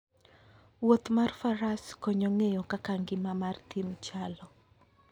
Wuoth mar faras konyo ng'eyo kaka ngima mar thim chalo.